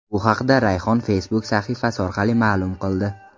Bu haqda Rayhon Facebook sahifasi orqali ma’lum qildi .